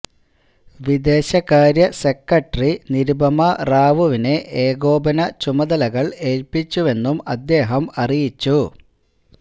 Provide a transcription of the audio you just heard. വിദേശ കാര്യ സെക്രട്ടറി നിരുപമ റാവുവിനെ ഏകോപന ചുമതലകള് ഏല്പ്പിച്ചുവെന്നും അദ്ദേഹം അറിയിച്ചു